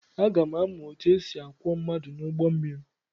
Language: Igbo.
Aga m amụ otú e si akwọ mmadụ n’ụgbọ mmiri.